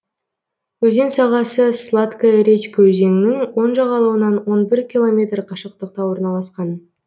өзен сағасы сладкая речка өзенінің оң жағалауынан он бір километр қашықтықта орналасқан